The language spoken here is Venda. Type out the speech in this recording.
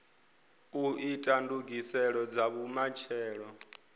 u ita ndugiselo dza vhumatshelo